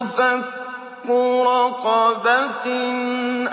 فَكُّ رَقَبَةٍ